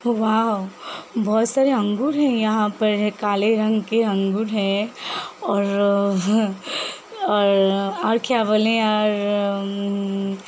वाव बहुत सारे अंगूर है यहाँ पर काले रंग के अंगूर है और और और क्या बोले और अ म --